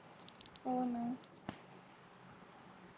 हो ना